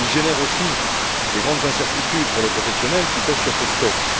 Il génère aussi de grandes incertitudes pour les professionnels qui pêchent sur ces stocks.